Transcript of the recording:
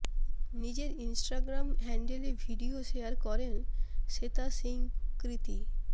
নিজের ইনস্টাগ্রাম হ্যান্ডেলে video share করেন শ্বেতা সিং কৃতি